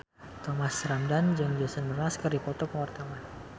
Thomas Ramdhan jeung Jason Mraz keur dipoto ku wartawan